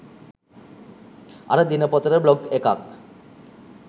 අර දිනපොතට බ්ලොග් එකක්.